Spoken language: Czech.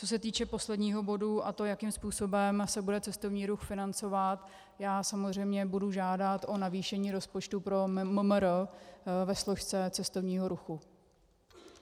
Co se týče posledního bodu, a to jakým způsobem se bude cestovní ruch financovat, já samozřejmě budu žádat o navýšení rozpočtu pro MMR ve složce cestovního ruchu.